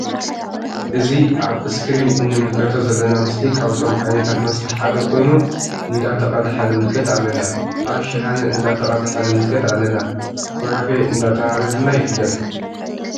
እዚ አብ እስክሪን እንምልከቶ ዘለና ምስሊ ካብቶም ዓይነታት መስተ ሓደ ኮይኑ እንዳተቀድሐ ንምልከት አለና አብ ሽሃነ እንዳተቀድሐ ንምልከት አለና::ኮረፊ እንዳተብሃለ ድማ ይፍለጥ::